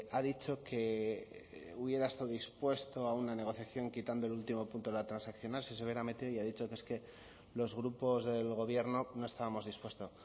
ha dicho que hubiera estado dispuesto a una negociación quitando el último punto de la transaccional y ha dicho que es que los grupos del gobierno no estábamos dispuestos